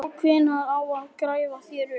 Og hvenær á að grafa þær upp?